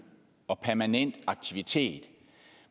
og permanent aktivitet